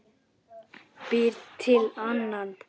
Býr til annan.